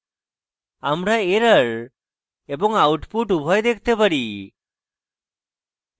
আমরা error এবং output উভয় দেখতে পারি